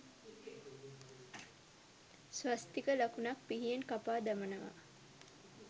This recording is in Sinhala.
ස්වස්තික ලකුණක් පිහියෙන් කපා දමනවා